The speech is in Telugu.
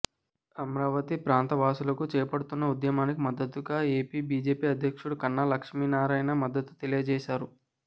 అమరావతి ప్రాంత వాసులు చేపడుతున్న ఉద్యమానికి మద్దతుగా ఏపీ బీజేపీ అధ్యక్షుడు కన్నా లక్ష్మీనారాయణ మద్దతు తెలియజేశారు